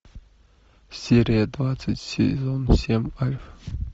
серия двадцать сезон семь альф